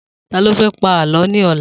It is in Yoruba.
Ta ló fẹ́ pa Àlọ́ ni ọlá?